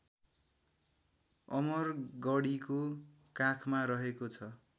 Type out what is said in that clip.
अमरगढीको काखमा रहेको छ